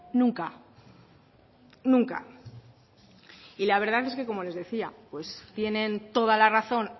nunca nunca y la verdad es que como les decía pues tienen toda la razón